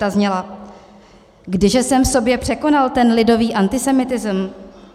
Ta zněla: "Kdyže jsem v sobě překonal ten lidový antisemitism?